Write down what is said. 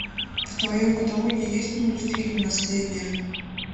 в твоем каталоге есть мультфильм наследие